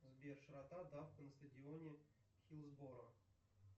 сбер широта давка на стадионе хиллсборо